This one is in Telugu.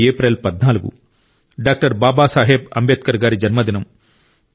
అది ఏప్రిల్ 14 డాక్టర్ బాబా సాహెబ్ అంబేద్కర్ గారి జన్మదినం